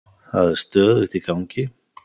Það er stöðugt í gangi.